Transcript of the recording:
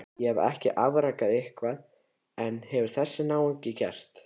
Ég hef afrekað eitthvað en hvað hefur þessi náungi gert?